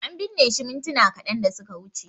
An binne shi mintuna kadan da suka wuce